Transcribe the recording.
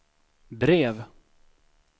brev